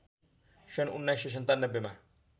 सन् १९९७ मा